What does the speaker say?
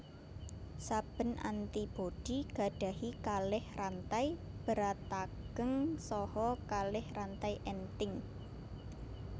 Sabén antibodi gadahi kalih rantai beratageng saha kalih rantai enting